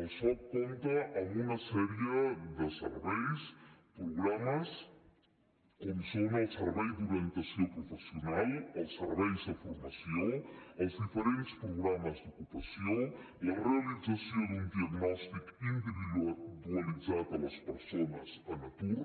el soc compta amb una sèrie de serveis programes com són el servei d’orientació professional els serveis de formació els diferents programes d’ocupació la realització d’un diagnòstic individualitzat a les persones en atur